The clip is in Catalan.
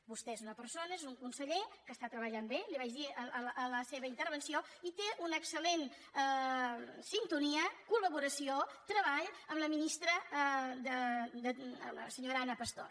vostè és una persona és un conseller que està treballant bé li ho vaig dir a la seva intervenció i té una excel·lent sintonia col·laboració treball amb la ministra la senyora ana pastor